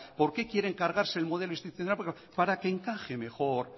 por qué quieren cargarse el modelo institucional para que encaje mejor